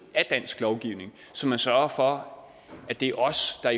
af dansk lovgivning så man sørger for at det er os der